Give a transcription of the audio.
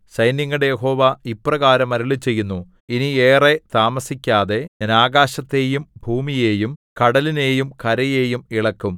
സൈന്യങ്ങളുടെ യഹോവ ഇപ്രകാരം അരുളിച്ചെയ്യുന്നു ഇനി ഏറെ താമസിക്കാതെ ഞാൻ ആകാശത്തെയും ഭൂമിയെയും കടലിനേയും കരയെയും ഇളക്കും